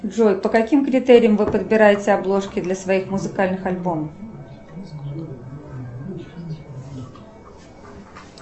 джой по каким критериям вы подбираете обложки для своих музыкальных альбомов